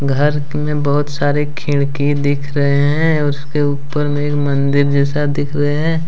घर के में बहुत सारे खिनकी दिख रहे हैं और उसके ऊपर में एक मंदिर जैसा दिख रहे हैं।